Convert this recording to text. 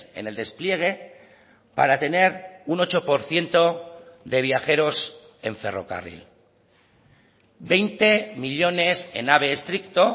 en el despliegue para tener un ocho por ciento de viajeros en ferrocarril veinte millónes en ave estricto